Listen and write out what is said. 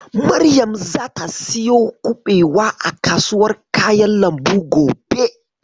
Maryam zata siyo kuɓewa a kasuwar kayan lambu gobe.